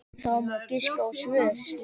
Það má giska á svör.